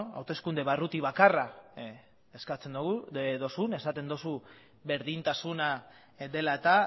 hauteskunde barruti bakarra eskatzen duzun esaten duzu berdintasuna dela eta